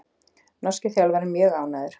Norski þjálfarinn mjög ánægður